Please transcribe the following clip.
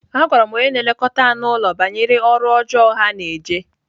Agwara m onye na-elekọta anụ ụlọ banyere ọrụ ọjọọ ha na-eje.